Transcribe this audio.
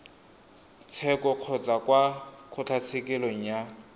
tsheko kgotsa kwa kgotlatshekelo ya